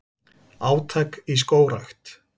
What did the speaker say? Átak í skógrækt